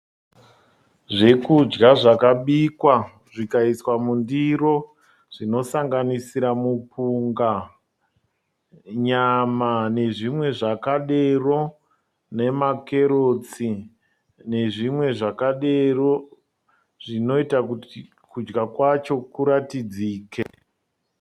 Zvekudya zvakabikwa zvikaiswa mundiro. Zvinosanganisira mupunga, nyama nezvimwe zvakadero nemakerotsi nezvimwe zvakadero zvinoita kuti kudya kwacho kuratidzike.